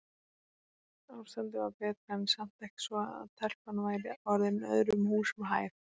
Ástandið var betra en samt ekki svo að telpan væri orðin öðrum húsum hæf.